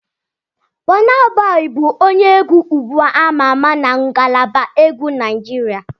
Bọna Bọyi bụ onye egwu ugbu ama ama na ngalaba egwu Naijiria.